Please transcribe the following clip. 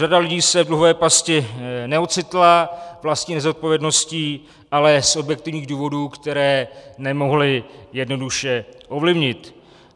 Řada lidí se v dluhové pasti neocitla vlastní nezodpovědností, ale z objektivních důvodů, které nemohli jednoduše ovlivnit.